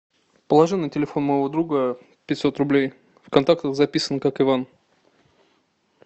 положи на телефон моего друга пятьсот рублей в контактах записан как иван